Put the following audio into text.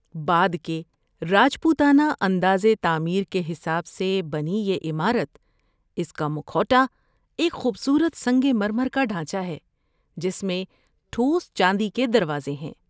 بعد کے راجپوتانہ انداز تعمیر کے حساب سے بنی یہ عمارت، اس کا مکھوٹا ایک خوبصورت سنگ مرمر کا ڈھانچہ ہے جس میں ٹھوس چاندی کے دروازے ہیں۔